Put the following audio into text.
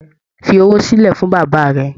Fí owó silẹ fún bàbá rẹ̀!